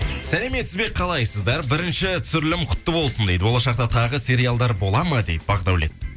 сәлеметсіз бе қалайсыздар бірінші түсірілім құтты болсын дейді болашақта тағы сериалдар болады ма дейді бақдәулет